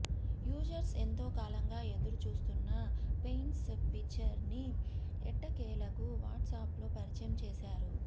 users ఎంతో కాలంగా ఎదురుచూస్తున్న పేమెంట్స్ ఫీచర్ని ఎట్టకేలకు వాట్సాప్లో పరిచయం చేశారు